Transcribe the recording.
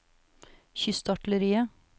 kystartilleriet